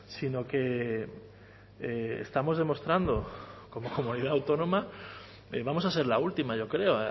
sino que estamos demostrando como comunidad autónoma vamos a ser la última yo creo